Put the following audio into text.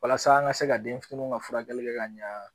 Walasa an ka se ka denfiniw ka furakɛli kɛ ka ɲa.